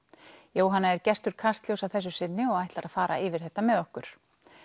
Jóhanna er gestur Kastljóss að þessu sinni og ætlar að fara yfir þetta með okkur